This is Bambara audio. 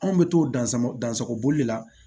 Anw bɛ t'o dan sama dansɔboli de la